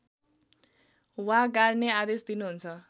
वा गाड्ने आदेश दिनुहुन्छ